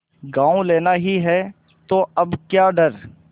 गॉँव लेना ही है तो अब क्या डर